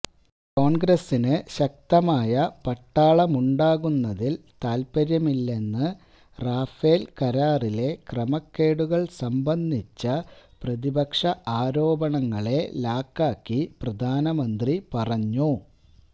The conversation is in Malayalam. കോൺഗ്രസ്സിന് ശക്തമായ പട്ടാളമുണ്ടാകുന്നതിൽ താൽപര്യമില്ലെന്ന് റാഫേൽ കരാറിലെ ക്രമക്കേടുകൾ സംബന്ധിച്ച പ്രതിപക്ഷ ആരോപണങ്ങളെ ലാക്കാക്കി പ്രധാനമന്ത്രി പറഞ്ഞു